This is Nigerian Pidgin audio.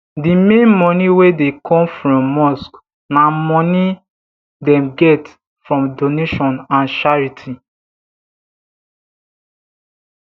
d main money wey dey come from mosque na money dem get from donation and charity